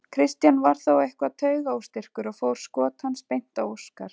Kristján var þó eitthvað taugaóstyrkur og fór skot hans beint á Óskar.